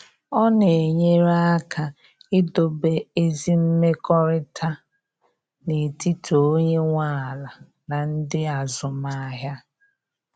Ọ na enyere aka idobe ezi mmekọrịta n’etiti onye nwe ala na ndị azụmahịa.